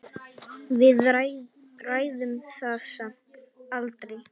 Við ræddum það samt aldrei.